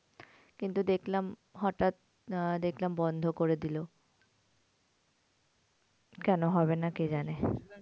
কিন্তু দেখলাম হটাৎ আহ দেখলাম বন্ধ করে দিলো। কেন হবে না কে জানে?